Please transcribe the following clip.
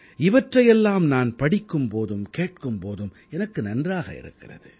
இவற்றையெல்லாம் நான் படிக்கும் போதும் கேட்கும் போதும் எனக்கு நன்றாக இருக்கிறது